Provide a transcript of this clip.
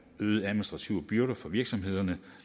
øgede administrative byrder for virksomhederne